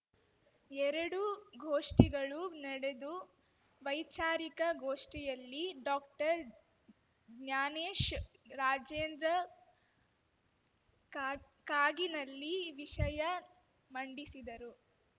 ಎರಡು ಗೋಷ್ಠಿಗಳು ನಡೆದು ವೈಚಾರಿಕ ಗೋಷ್ಠಿಯಲ್ಲಿ ಡಾಕ್ಟರ್ಜ್ಞಾನೇಶ್‌ ರಾಜೇಂದ್ರ ಕಾಗ್ ಕಾಗಿನಲ್ಲಿ ವಿಷಯ ಮಂಡಿಸಿದರು